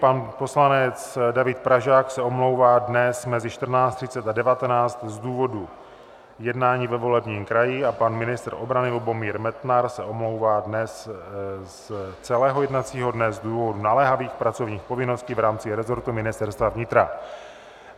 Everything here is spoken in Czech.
Pan poslanec David Pražák se omlouvá dnes mezi 14.30 a 19.00 z důvodu jednání ve volebním kraji a pan ministr obrany Lubomír Metnar se omlouvá dnes z celého jednacího dne z důvodu naléhavých pracovních povinností v rámci rezortu Ministerstva vnitra (?).